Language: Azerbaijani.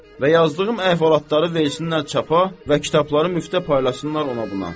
Və yazdığım əhvalatları versinlər çapa və kitabları müftə paylasınlar ona buna.